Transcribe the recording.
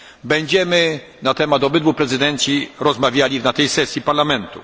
Będziemy na temat obydwu prezydencji rozmawiali na tej sesji Parlamentu.